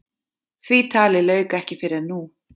Því tali lauk ekki fyrr en nú.